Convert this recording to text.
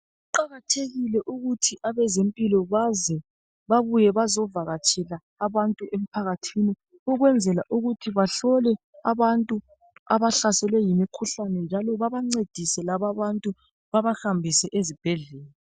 Kuqakathekile ukuthi abezempilo baze babuye bazovakatshela abantu emphakathini ukwenzela ukuthi bahlole abantu abahlaselwe yimkhuhlane njalo babancedise lababantu babahambise ezibhedlela.